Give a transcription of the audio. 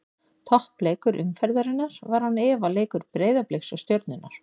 Toppleikur umferðarinnar var án efa leikur Breiðabliks og Stjörnunnar.